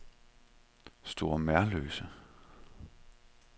Store Merløse